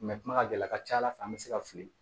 kuma ka gɛlɛ a ka ca ala fɛ an bɛ se ka fili